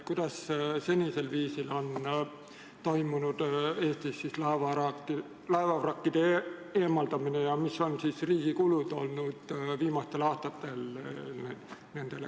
Kuidas seni on toimunud Eesti laevavrakkide eemaldamine ja kui suured on viimastel aastatel olnud riigi kulud selleks?